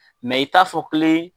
Mɛ i t'a fɔ kelen